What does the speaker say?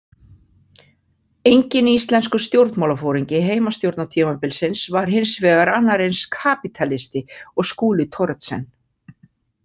Enginn íslenskur stjórnmálaforingi heimastjórnartímabilsins var hins vegar annar eins kapítalisti og Skúli Thoroddsen.